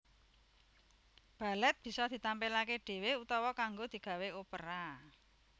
Balèt bisa ditampilaké dhéwé utawa kanggo digawé opera